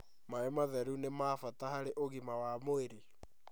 Maĩ matheru nĩ ma bata harĩ ũgima wa mwĩrĩ